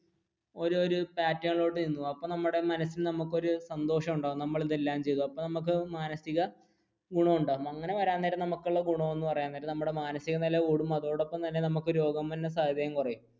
ഒരു ഒരു pattern ലേക്ക് നീങ്ങും അപ്പൊ നമ്മുടെ മനസിൽ നമ്മക്കൊരു സന്തോഷം ഉണ്ടാകും നമ്മൾ ഇതെല്ലം ചെയ്തു അപ്പൊ നമുക്ക് മാനസിക ഗുണമുണ്ടാകും അങ്ങനെ വരാൻ നേരം നമുക്കുള്ള ഗുണം എന്ന് പറയാൻ നേരം നമ്മുടെ മാനസിക നില കൂടും അതോടൊപ്പം തന്നെ നമുക്ക് രോഗം വരുന്ന സാധ്യതയും കുറയും.